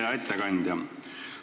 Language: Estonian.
Hea ettekandja!